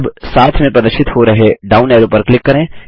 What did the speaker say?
अब साथ में प्रदर्शित हो रहे डाउन एरो पर क्लिक करें